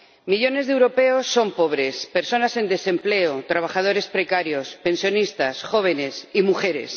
Millones de europeos son pobres, personas en desempleo, trabajadores precarios, pensionistas, jóvenes y mujeres.